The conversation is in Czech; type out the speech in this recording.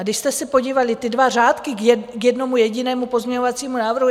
A když jste se podívali, ty dva řádky k jednomu jedinému pozměňovacímu návrhu...